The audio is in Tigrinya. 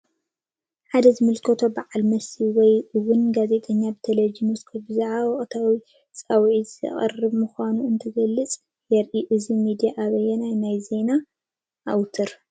ሓደ ዝምልከቶ በዓል መሲ ወይ እውን ጋዜጠኛ ብቴሌቨዥን መስኮት ብዛዕባ ወቕታዊ ፃዊዒት ዝቐረበ ምዃኑ እንትገልፅ የርኢ፡፡ እዚ ሚድያ ኣበየናይ ናይ ዜና ኣውትር ?